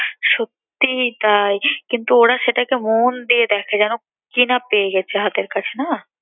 সত্যিই তাই কিন্তু ওরা সেটাকে মন দিয়ে দেখে যেন কি না পেয়ে গেছে হাতের কাছে না।